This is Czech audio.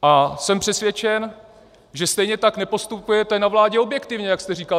A jsem přesvědčen, že stejně tak nepostupujete na vládě objektivně, jak jste říkal.